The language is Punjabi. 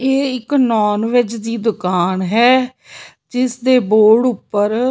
ਇਹ ਇੱਕ ਨਾੱਨ ਵੈਜ ਦੀ ਦੁਕਾਨ ਹੈ ਜਿਸ ਦੇ ਬੋਰਡ ਉੱਪਰ --